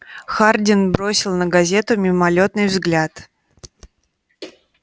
хардин бросил на газету мимолётный взгляд